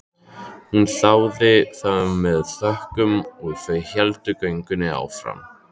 Hún þáði það með þökkum og þau héldu göngunni áfram.